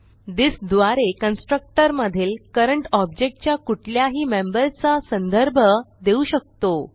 this द्वारे constructor मधील current object च्या कुठल्याही मेंबरचा संदर्भ देऊ शकतो